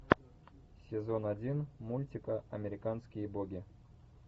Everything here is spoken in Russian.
сезон один мультика американские боги